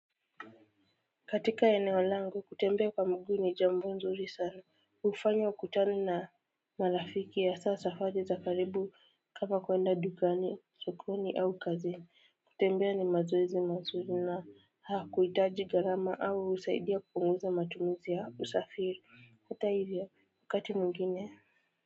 Katika eneo lango kutembea kwa mguu ni jambo nzuri sana hufanya ukutane na marafiki hasa safari za karibu kama kuenda dukani, sokoni au kazini kutembea ni mazoezi mazuri na hakuitaji gharama au husaidia kupunguza matumizi ya usafiri hata hivyo wakati mwingine.